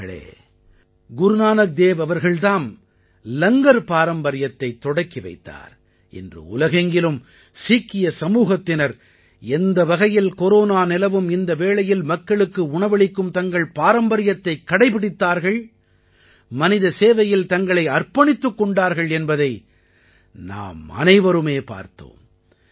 நண்பர்களே குருநானக் தேவ் அவர்கள் தாம் லங்கர் பாரம்பரியத்தைத் தொடக்கி வைத்தார் இன்று உலகெங்கிலும் சீக்கிய சமூகத்தினர் எந்த வகையில் கொரோனா நிலவும் இந்த வேளையில் மக்களுக்கு உணவளிக்கும் தங்கள் பாரம்பரியத்தைக் கடைப்பிடித்தார்கள் மனிதசேவையில் தங்களை அர்ப்பணித்துக் கொண்டார்கள் என்பதை நாம் அனைவருமே பார்த்தோம்